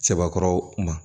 Sɛbɛkɔrɔw ma